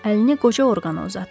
Əlini qoca orqana uzatdı.